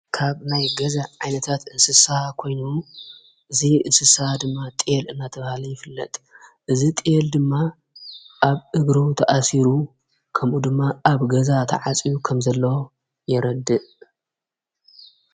ካብ ናይ ገዛ ዓይነታት እንስሳሓ ኮይኑ ዙ እንስሳሓ ድማ ጢል እናተብሃለ ይፍለጥ እዝ ጥል ድማ ኣብ እግሮ ተኣሲሩ ከምኡ ድማ ኣብ ገዛ ተዓጺኡ ከም ዘለ የረድእ።